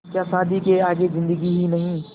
क्या शादी के आगे ज़िन्दगी ही नहीं